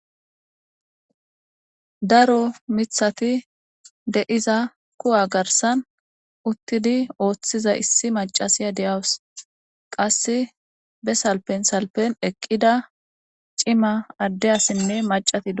Daro mithati deiza kuwa garsan uttidi ooththiza issi macasiya de'awus qasse be salpen salpen eqqida cima addeyassinne macatida.